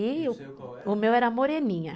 E o meu era Moreninha.